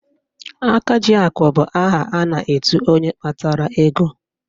Akajiakụ bụ aha a na-etu onye kpatara ego